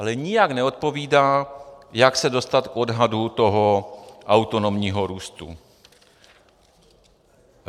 Ale nijak neodpovídá, jak se dostat k odhadu toho autonomního růstu.